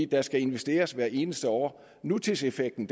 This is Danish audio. der skal investeres hvert eneste år nutidseffekten